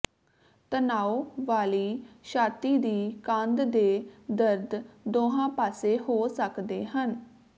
ਤਣਾਓ ਵਾਲੀ ਛਾਤੀ ਦੀ ਕੰਧ ਦੇ ਦਰਦ ਦੋਹਾਂ ਪਾਸੇ ਹੋ ਸਕਦੇ ਹਨ